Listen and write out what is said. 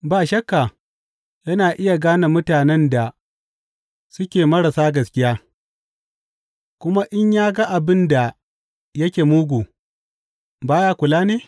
Ba shakka yana iya gane mutanen da suke marasa gaskiya; kuma in ya ga abin da yake mugu, ba ya kula ne?